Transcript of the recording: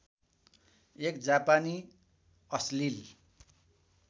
एक जापानी अश्लिल